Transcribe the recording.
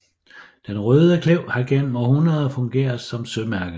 Den Røde Klev har gennem århundreder fungeret som sømærke